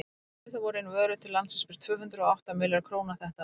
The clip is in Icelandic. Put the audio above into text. fluttar voru inn vörur til landsins fyrir tvö hundruð og átta milljarða króna þetta ár